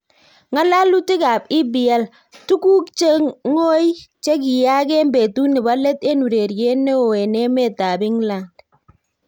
Ngalalutik ab EPL: Tuguk che ngoi chekiiyaak en betut nebo let en ureriet neooo en emet ab England